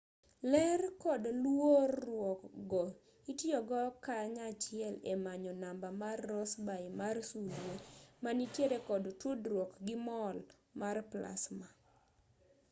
ler kod luor-ruok go itiyogo kanyachiel e manyo namba mar rossby mar sulwe manitiere kod tudruok gi mol mar plasma